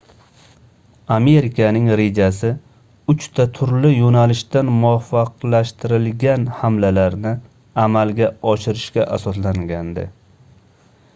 amerikaning rejasi uchta turli yoʻnalishdan muvofiqlashtirilgan hamlalarni amalga oshirishga asoslangandi